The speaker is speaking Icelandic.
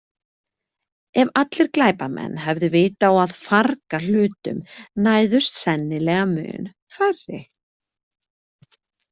Ef allir glæpamenn hefðu vit á að farga hlutum næðust sennilega mun færri.